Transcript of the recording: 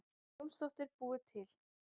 Jónsdóttir búið til.